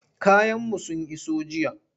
Kayanmu sun iso jiya.